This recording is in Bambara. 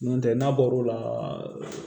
N'o tɛ n'a bɔr'o la